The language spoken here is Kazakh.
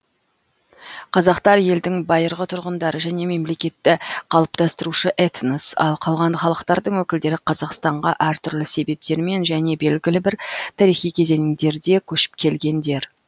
қазақтар елдің байырғы тұрғындары және мемлекетті қалыптастырушы этнос ал қалған халықтардың өкілдері қазақстанға әр түрлі себептермен және белгілі бір тарихи кезеңдерде көшіп келгендер